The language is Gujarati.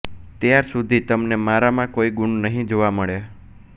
ત્યાર સુધી તમને મારામાં કોઈ ગુણ નહીં જોવા મળે